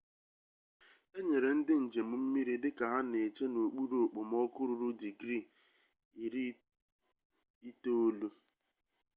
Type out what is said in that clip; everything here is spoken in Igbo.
e nyere ndị njem mmiri dịka ha na-eche n'okpuru okpomọkụ ruru digrii 90f